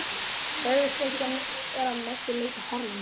Taugaslekjan er að mestu leyti horfin.